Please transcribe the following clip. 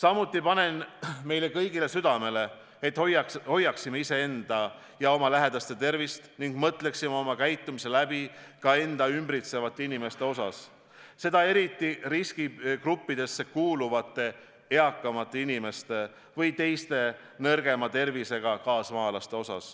Ma panen meile kõigile südamele, et me hoiaksime iseenda ja oma lähedaste tervist ning mõtleksime oma käitumise läbi, arvestades ka end ümbritsevaid inimesi, eriti riskigruppidesse kuuluvaid eakamaid inimesi ja teisi nõrgema tervisega kaasmaalasi.